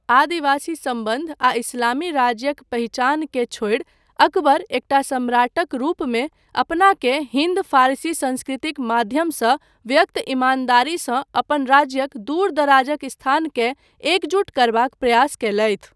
आदिवासी सम्बन्ध आ इस्लामी राज्यक पहिचानकेँ छोड़ि, अकबर एकटा सम्राटक रूपमे अपनाकेँ हिन्द फारसी संस्कृतिक माध्यमसँ व्यक्त ईमानदारीसँ अपन राज्यक दूर दराजक स्थानकेँ एकजुट करबाक प्रयास कयलथि।